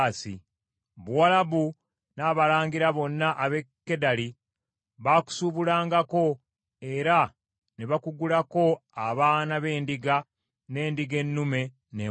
“ ‘Buwalabu n’abalangira bonna ab’e Kedali baakusuubulangako era ne bakugulako abaana b’endiga, n’endiga ennume n’embuzi.